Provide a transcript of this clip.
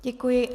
Děkuji.